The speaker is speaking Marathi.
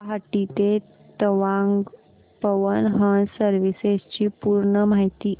गुवाहाटी ते तवांग पवन हंस सर्विसेस ची पूर्ण माहिती